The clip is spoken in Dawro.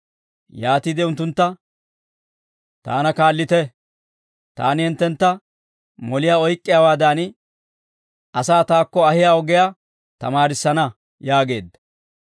Yaatiide unttuntta, «Taana kaallite; taani hinttentta moliyaa oyk'k'iyaawaadan asaa taakko ahiyaa ogiyaa tamaarissana» yaageedda.